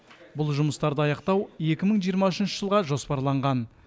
бұл жұмыстарды аяқтау екі мың жиырма үшінші жылға жоспарланған